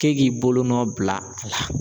K'e k'i bolonɔ bila a la.